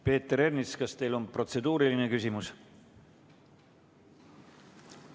Peeter Ernits, kas teil on protseduuriline küsimus?